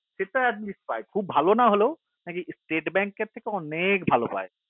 সেটা atleast পাই খুব ভালো না হলেও state bank থেকে অনেক ভালো পাই